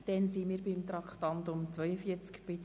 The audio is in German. Dann sind wir bei der Abstimmung angelangt: